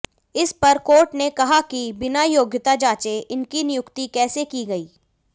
इस पर कोर्ट ने कहा की बिना योग्यता जांचे इनकी नियुक्ति कैसे की गई